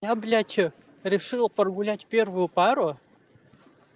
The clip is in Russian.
я блядь что решила прогулять первую пару